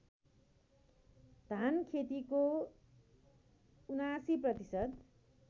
धानखेतीको ७९ प्रतिशत